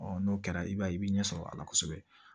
n'o kɛra i b'a ye i bɛ ɲɛ sɔrɔ a la kosɛbɛ